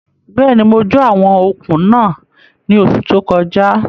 Bẹ́ẹ̀ni, mo jó àwọn okùn náà ní oṣù tó kọjá